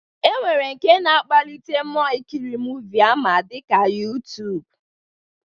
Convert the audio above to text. E nwere nke na-akpalite mmụọ ikiri muuvi ama dịka YuTuub